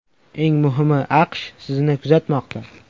Eng muhimi, AQSh sizni kuzatmoqda.